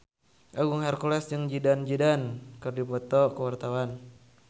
Agung Hercules jeung Zidane Zidane keur dipoto ku wartawan